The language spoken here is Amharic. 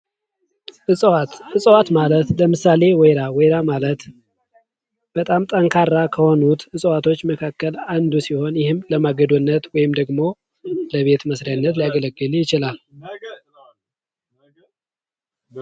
እፅዋት:- እፅዋት ማለት ለምሳሌ ወይራ ወይራ ማለት በጣም ጠንካራ ከሆኑት እፅዋቶች መካከል አንዱ ሲሆን ይህም ለማገዶነት ወይም ለቤት መስሪያነት ሊያገልግል ይችላል።